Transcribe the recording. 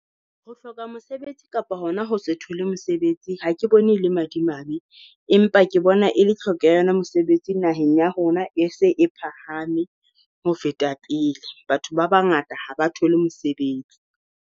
Ho hloka mosebetsi kapa hona ho se thole mosebetsi ha ke bone e le madimabe, empa ke bona e le hlokeha ya yona mosebetsi naheng ya rona e se e phahame ho feta pele. Batho ba bangata ha ba thole mosebetsi.